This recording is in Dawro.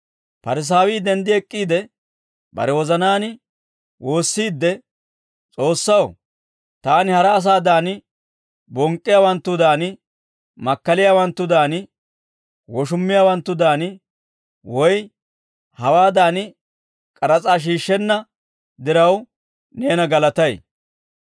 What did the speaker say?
Parisaawii denddi ek'k'iide bare wozanaan woossiidde, ‹S'oossaw, taani hara asaadan: bonk'k'iyaawanttudan, makkaliyaawanttudan, woshummiyaawanttudan, woy hawaadan k'aras'aa shiishshenna diraw neena galatay.